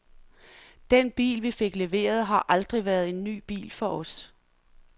Den bil, vi fik leveret, har aldrig været en ny bil for os.